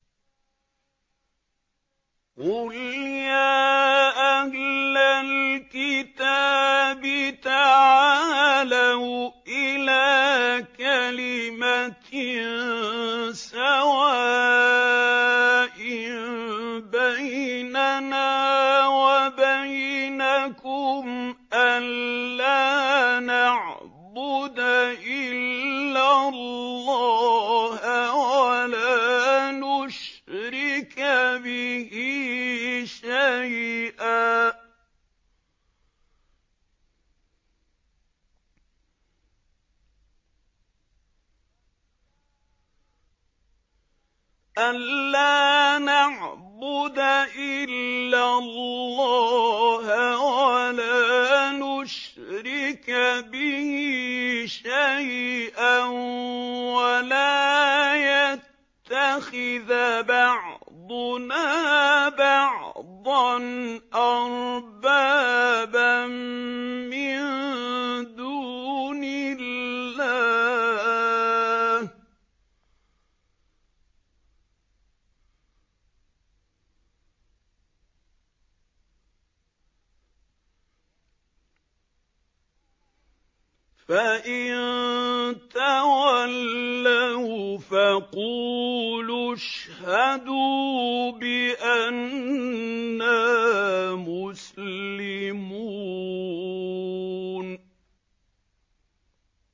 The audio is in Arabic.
قُلْ يَا أَهْلَ الْكِتَابِ تَعَالَوْا إِلَىٰ كَلِمَةٍ سَوَاءٍ بَيْنَنَا وَبَيْنَكُمْ أَلَّا نَعْبُدَ إِلَّا اللَّهَ وَلَا نُشْرِكَ بِهِ شَيْئًا وَلَا يَتَّخِذَ بَعْضُنَا بَعْضًا أَرْبَابًا مِّن دُونِ اللَّهِ ۚ فَإِن تَوَلَّوْا فَقُولُوا اشْهَدُوا بِأَنَّا مُسْلِمُونَ